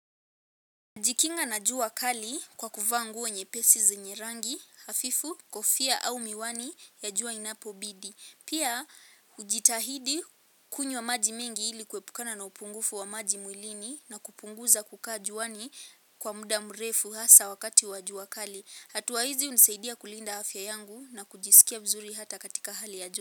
Najikinga na jua kali kwa kuvaa nguo nyepesi zenye rangi, hafifu, kofia au miwani ya jua inapo bidi. Pia ujitahidi kunywa maji mingi ili kuepukana na upungufu wa maji mwilini na kupunguza kukaa juani kwa muda mrefu asa wakati wa jua kali. Hatua hizi unisaidia kulinda afya yangu na kujisikia mzuri hata katika hali ya joto.